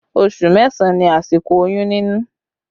Oṣù mẹ́sàn ni àsìkò oyún nínú